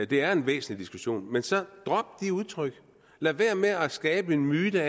det er en væsentlig diskussion men så drop det udtryk og lad være med at skabe en myte